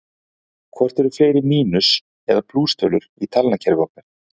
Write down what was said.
Hvort eru fleiri mínus- eða plústölur í talnakerfi okkar?